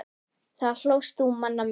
Þá hlóst þú manna mest.